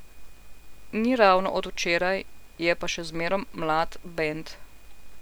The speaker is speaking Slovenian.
Ni ravno od včeraj, je pa še zmerom mlad bend.